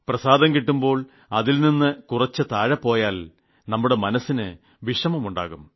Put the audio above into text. പ്രസാദം കിട്ടുമ്പോൾ അതിൽ നിന്ന് കുറച്ചു താഴെ പോയാൽ നമ്മുടെ മനസ്സിന് ക്ഷോഭം ഉണ്ടാകും